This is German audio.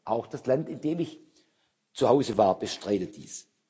Auch das Land, in dem ich zu Hause war, bestreitet dies.